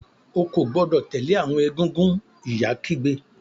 O ko gbọdọ tẹle awọn egúngún! ìyá kígbe.